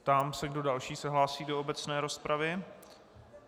Ptám se, kdo další se hlásí do obecné rozpravy.